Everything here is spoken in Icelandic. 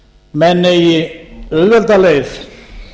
menn eigi auðvelda leið